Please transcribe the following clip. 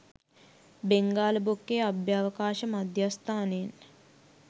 බෙංගාල බොක්කේ අභ්‍යවකාශ මධ්‍යස්ථානයෙන්